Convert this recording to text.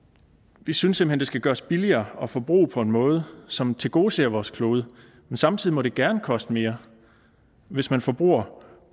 vi synes simpelt hen at det skal gøres billigere at forbruge på en måde som tilgodeser vores klode men samtidig må det gerne koste mere hvis man forbruger